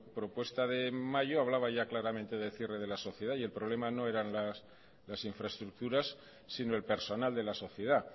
propuesta de mayo hablaba ya claramente del cierre de la sociedad y el problema no eran las infraestructuras sino el personal de la sociedad